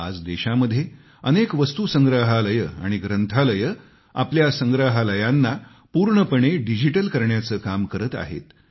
आज देशामध्ये अनेक वस्तू संग्रहालयं आणि ग्रंथालयं आपल्या संग्रहालयांना पूर्णपणे डिजिटल करण्याचं काम करताहेत